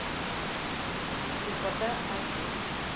слепота аш ди